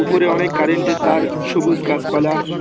উপরে অনেক কারেন্টের তার সবুজ গাছপালা--